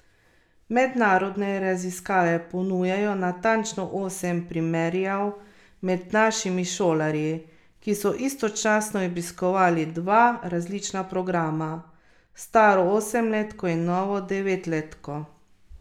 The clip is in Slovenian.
Mednarodne raziskave ponujajo natančno osem primerjav med našimi šolarji, ki so istočasno obiskovali dva različna programa, staro osemletko in novo devetletko.